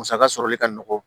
Musaka sɔrɔli ka nɔgɔn